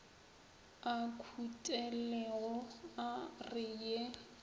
a khutilego a re ye